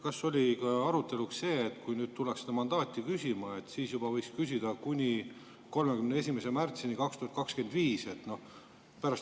Kas oli arutelu all ka see, et kui tullakse seda mandaati küsima, siis võiks küsida juba kuni 31. märtsini 2025?